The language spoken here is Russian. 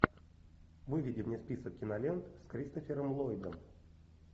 выведи мне список кинолент с кристофером ллойдом